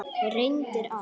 Reyndir allt.